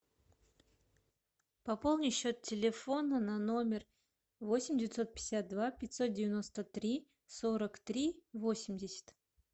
пополни счет телефона на номер восемь девятьсот пятьдесят два пятьсот девяносто три сорок три восемьдесят